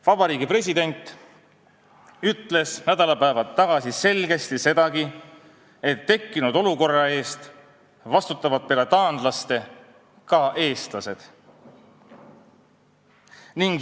Vabariigi President ütles nädalapäevad tagasi selgesti sedagi, et tekkinud olukorra eest vastutavad peale taanlaste ka eestlased.